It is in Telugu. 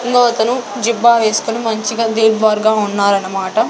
ఇంగో అతను జిబ్బా వేసుకొని మంచిగా దీర్భార్ గా ఉన్నారనమాట.